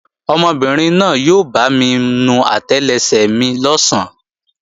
Ọmọbìnrin náà yóò bámi nu àtẹlẹsẹ̀ mi lọ̀sán